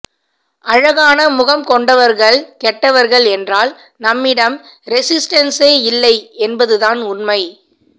அழகான முகம் கொண்டவர்கள் கெட்டவர்கள் என்றால் நம்மிடம் ரெஸிஸ்டென்ஸே இல்லை என்பதுதான் உண்மை